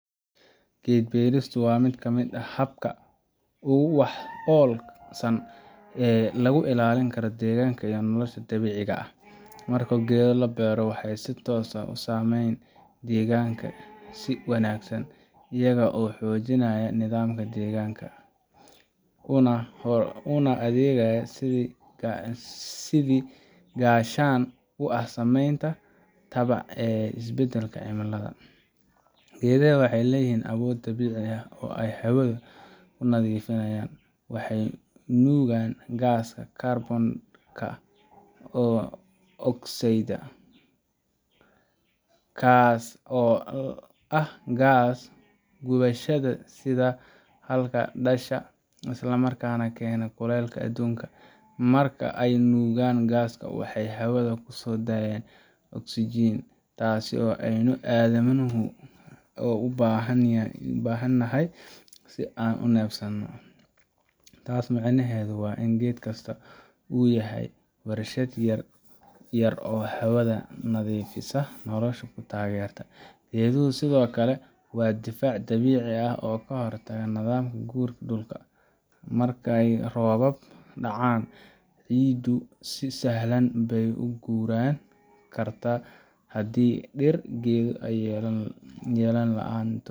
Gad barista wa mid kamad ah habka, ogu dolwakaran saan lagu ila linigaro daganka iyo, nolosha dawicka ah, marka gada laa bairo waxay sii toos ah usamayni daganka sii wagsan ayaka oo xojonaya nadaamka danganka, una agaya sidii gashan uu ah samanta tabac isbadalka cilimada, gada ah waxay layihin awood dawica ah oo ahawada una difinayinan, waxay nugayin gaska ka bondaxidka, oo oxidaa, gaas oo ah guwashada sida halka dasha, islamarka gaano kulalka adunka, marka ay nugan gaska waxay hawada ku sodayan oxigen taas oo adamuhu ubahanyihin, sidi ay unafdo, taas micnahada wa in gad gastah u yahay waarshada yar oo hawada nadifisah ah nolosha ku tagrtoh, gaduhu sida okle waa difiac dawica ah oo kaa hortagoh nadamka guurka dulka, marka rooba ah dacan cidu sii sahlan uguran karta, hadii dir gado laan too.